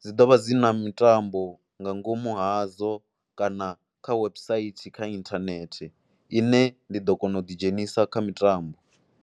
Dzi ḓo vha dzi na mitambo nga ngomu hadzo kana kha website kha inthanethe ine ndi ḓo kona u ḓidzhenisa kha mitambo.